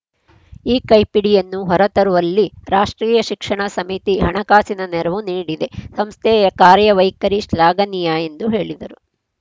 ಈ ಕೈಪಿಡಿಯನ್ನು ಹೊರತರುವಲ್ಲಿ ರಾಷ್ಟ್ರೀಯ ಶಿಕ್ಷಣ ಸಮಿತಿ ಹಣಕಾಸಿನ ನೆರವು ನೀಡಿದೆ ಸಂಸ್ಥೆಯ ಕಾರ್ಯವೈಖರಿ ಶ್ಲಾಘನೀಯ ಎಂದು ಹೇಳಿದರು